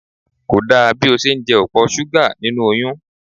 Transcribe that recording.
Kò dá bí o ṣe ń jẹ opo súgà nínú oyún.